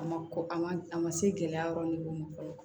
A ma kɔkɔ a man a ma se gɛlɛya yɔrɔ ma fɔlɔ